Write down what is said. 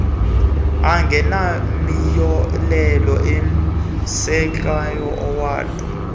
angenamiyolelo umsindleko owodwa